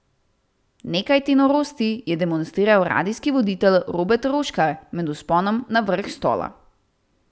Nekaj te norosti je demonstriral radijski voditelj Robert Roškar med vzponom na vrh Stola.